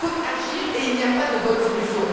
Il faut donc agir et il n'y a pas de bonne solution.